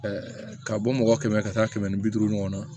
ka bɔ mɔgɔ kɛmɛ ka taa kɛmɛ ni bi duuru ɲɔgɔn na